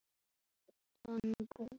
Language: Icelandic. Íbúðin hefur verið tóm síðan.